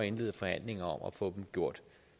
indlede forhandlinger om at få dem gjort